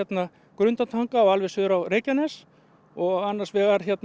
Grundartanga og alveg suður á Reykjanes og annars vegar